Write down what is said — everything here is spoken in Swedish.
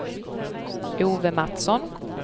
Ove Mattsson